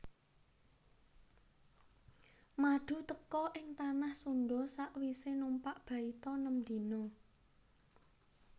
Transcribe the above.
Madu teka ing tanah Sundha sawisé numpak baita nem dina